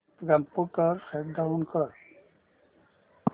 computer shut down कर